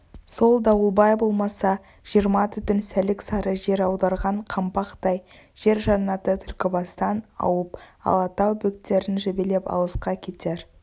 сол дауылбай болмаса жиырма түтін сәлік-сары жел аударған қаңбақтай жер жаннаты түлкібастан ауып алатау бөктерін жебелеп алысқа кетер